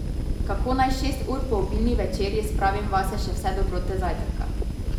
Kako naj šest ur po obilni večerji spravim vase še vse dobrote zajtrka?